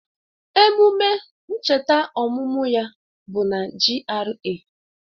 Ememe ncheta ọmụmụ ya bụ na GRA